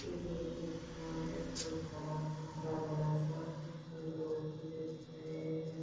एक खेत दिख रहा है बहुत हरा-भरा सा इसमे लोग भी दिख रहे है।